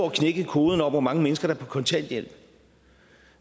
knækket kurven over hvor mange mennesker der er på kontanthjælp